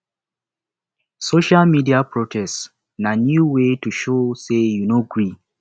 social media protest na new way to show sey you no gree